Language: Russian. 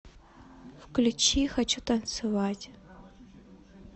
включи хочу танцевать